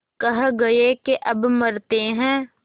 कह गये के अब मरते हैं